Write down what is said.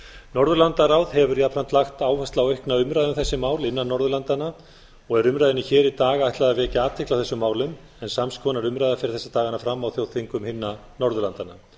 norðurlandaráð hefur jafnan lagt áherslu á umræðu um þessi mál innan norðurlandanna og er umræðunni hér í dag ætlað vekja athygli á þessum málum en sams konar umræða fer þessa dagana fram á þjóðþingum hinna norðurlandanna